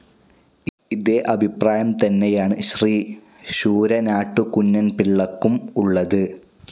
ഇതേ അഭിപ്രായം തന്നെയാണ് ശ്രീ ശൂരനാട്ടു കുഞ്ഞൻപിള്ളക്കും ഉള്ളത്.